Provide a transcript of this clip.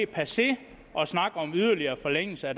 passé at snakke om yderligere forlængelse af